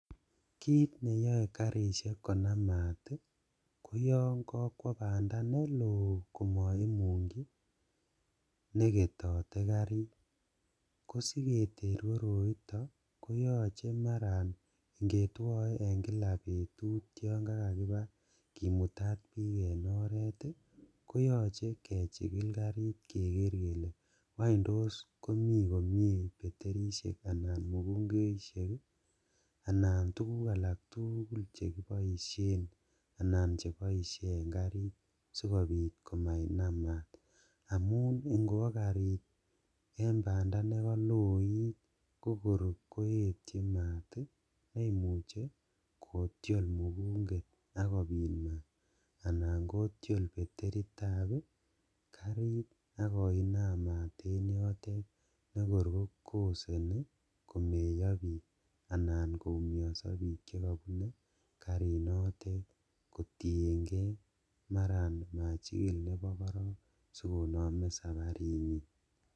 Kit neyoe karishek konam maat ii koyon kokwo bandaa neloo komoimungchi neketote karit kosiketer koroito koyoche maran ingetwoe en kila betut yon kakakibaa kimutat bik en oret ii koyoche kechikil karit keker kele ngwany tos komi komie beterisiek anan mukungoisiek ii anan tuguk alantuguk alak tugul chekiboishen anan chekiboishen en karit sikobit komanan mast amun ingiwo karit en banda nekoloit kokor koetchin maat ii neimuche kotiol mukinget ak kobit maat anan kotiol beteritab ii karit ak koinam maat en yotet nekor kokoseni komeyo bik anan koumiosok bik chekobune karinotet kotiengee maran machikil nebo korong sikonome saparinyin.